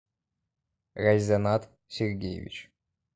гайзанат сергеевич